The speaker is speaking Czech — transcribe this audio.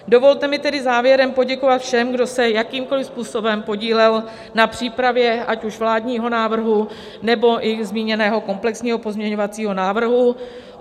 Dovolte mi tedy závěrem poděkovat všem, kdo se jakýmkoliv způsobem podíleli na přípravě ať už vládního návrhu, nebo i zmíněného komplexního pozměňovacího návrhu.